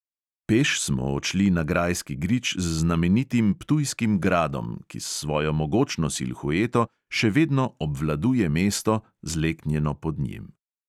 Peš smo odšli na grajski grič z znamenitim ptujskim gradom, ki s svojo mogočno silhueto še vedno obvladuje mesto, zleknjeno pod njim.